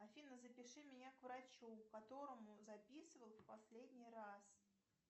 афина запиши меня к врачу к которому записывал в последний раз